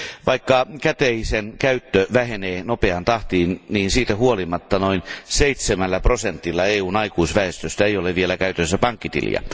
Vaikka käteisen käyttö vähenee nopeaan tahtiin, siitä huolimatta noin seitsemällä prosentilla EUn aikuisväestöstä ei ole vielä käytössään pankkitiliä.